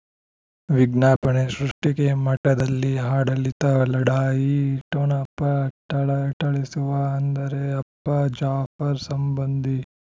ವಿಜ್ಞಾಪನೆ ಸೃಷ್ಟಿಗೆ ಮಠದಲ್ಲಿ ಆಡಳಿತ ಲಢಾಯಿ ಠೊಣಪ ಥಳಥಳಿಸುವ ಅಂದರೆ ಅಪ್ಪ ಜಾಫರ್ ಸಂಬಂಧಿ